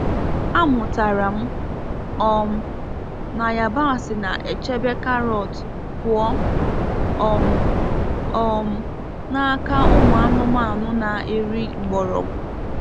A mụtara m um na yabasị na-echebe karọt pụọ um um n’aka ụmụ anụmanụ na-eri mgbọrọgwụ.